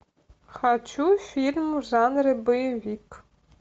хочу фильм в жанре боевик